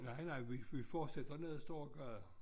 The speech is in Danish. Nej nej vi fortsætter ned af storegade